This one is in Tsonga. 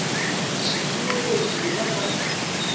xiyimo lexi u nga ka